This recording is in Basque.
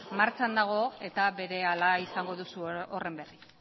martxan dago eta berehala izango duzu horren berri